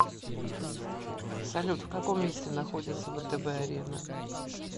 салют в каком месте находится втб арена